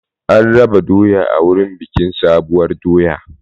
An raba doya a wurin bikin sabuwar doya.